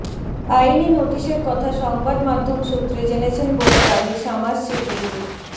আইনি নোটিসের কথা সংবাদমাধ্যম সূত্রে জেনেছেন বলে দাবি সামাস সিদ্দিকির